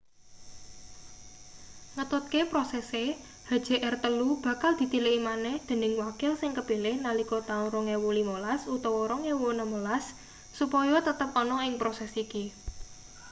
ngetutke prosese hjr-3 bakal ditiliki maneh dening wakil sing kepilih nalika taun 2015 utawa 2016 supaya tetep ana ing proses iki